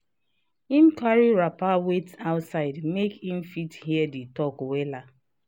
him carry wrapper wait outside make him fit hear the talk wella.